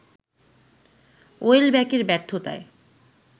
ওয়েলব্যাকের ব্যর্থতায়